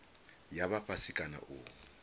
ya vha fhasi kana u